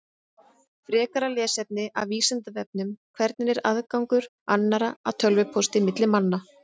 Frekara lesefni af Vísindavefnum: Hvernig er aðgangur annarra að tölvupósti milli manna?